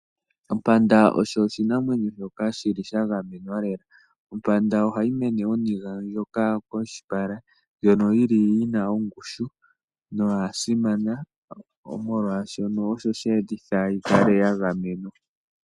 Ompanda osho oshinamwenyo shoka shili shagamenwa lela . Ompanda ohayi mene oniga moshipala , ndjono yili yina ongushu noyasimana molwaashono osho sheetitha yikale yagamenwa .